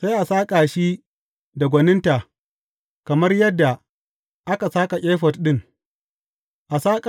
Sai a saƙa shi da gwaninta kamar yadda aka saƙa efod ɗin.